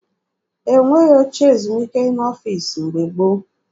E nweghị oche ezumike n'ọfiisi mgbe gboo.